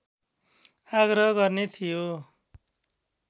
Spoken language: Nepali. आग्रह गर्ने थियो